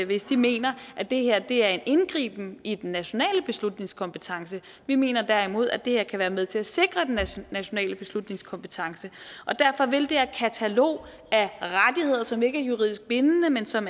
hvis de mener at det her er en indgriben i den nationale beslutningskompetence vi mener derimod at det her kan være med til at sikre den nationale beslutningskompetence og derfor vil det her katalog af rettigheder som ikke er juridisk bindende men som